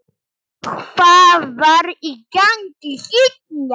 Hvað var í gangi hérna?